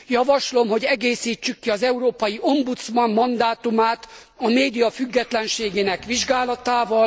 Javaslom, hogy egészítsük ki az európai ombudsman mandátumát a média függetlenségének vizsgálatával.